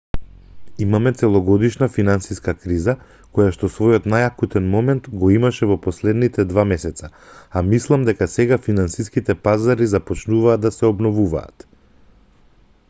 имаме целогодишна финансиска криза којашто својот најакутен момент го имаше во последните два месеца а мислам дека сега финансиските пазари започнуваат да се обновуваат